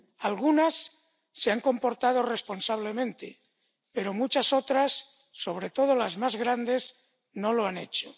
Algunas se han comportado responsablemente, pero muchas otras, sobre todo las más grandes, no lo han hecho.